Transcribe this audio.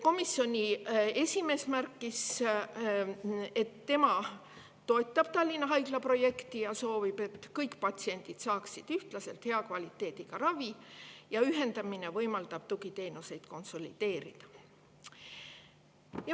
Komisjoni esimees märkis, et ta toetab Tallinna Haigla projekti ja soovib, et kõik patsiendid saaksid ühtlaselt hea kvaliteediga ravi, ning ühendamine võimaldab tugiteenuseid konsolideerida.